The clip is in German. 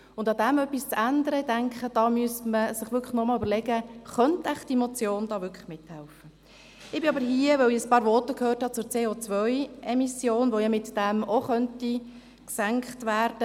Und ich denke, um daran etwas zu ändern, müsste man sich wirklich noch einmal überlegen, ob diese Motion hier wohl wirklich mithelfen könnte.